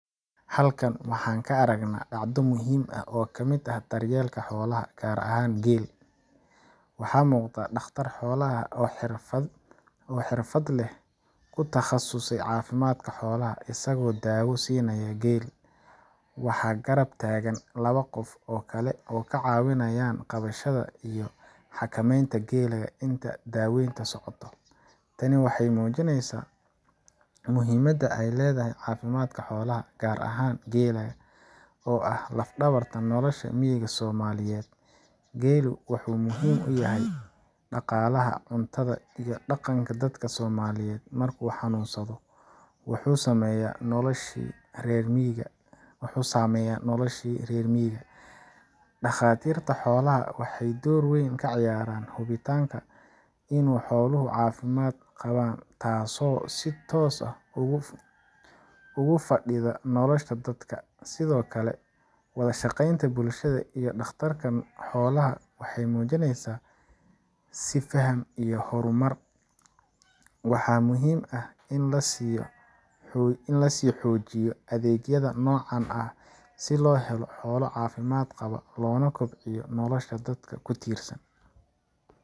Halkan waxaan ka aragnaa dhacdo muhiim ah oo ka mid ah daryeelka xoolaha, gaar ahaan geel. Waxaa muuqda dhakhtar xoolaha oo ah xirfadle ku takhasusay caafimaadka xoolaha isagoo daawo siinaya geel. Waxaa garab taagan laba qof oo kale oo ka caawinayan qabashada iyo xakameynta geela inta daaweyntu socoto. Tani waxay muujinaysaa muhiimadda ay leedahay caafimaadka xoolaha, gaar ahaan geela oo ah laf-dhabarta nolosha miyiga Soomaaliyeed. Geelu waxa uu muhiim u yahay dhaqaalaha, cuntada, iyo dhaqanka dadka Soomaaliyeed. Markuu xanuunsado, wuxuu saameeyaa noloshii reer miyiga. Dhakhaatiirta xoolaha waxay door weyn ka ciyaaraan hubinta in xooluhu caafimaad qabaan, taasoo si toos ah ugu fadhida nolosha dadka. Sidoo kale, wada shaqeynta bulshada iyo dhakhtarka xoolaha waxay muujinaysaa is faham iyo horumar. Waxaa muhiim ah in la sii xoojiyo adeegyada noocan ah si loo helo xoolo caafimaad qaba, loona kobciyo nolosha dadka ku tiirsan.